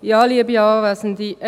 Ich gebe ihr das Wort.